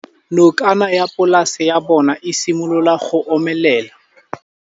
Nokana ya polase ya bona, e simolola go omelela.